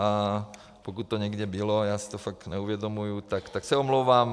A pokud to někde bylo, já si to fakt neuvědomuju, tak se omlouvám.